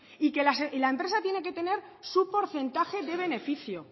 y que la empresa tiene que tener su porcentaje de beneficio